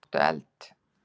Áttu eld?